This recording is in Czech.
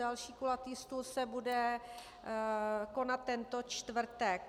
Další kulatý stůl se bude konat teto čtvrtek.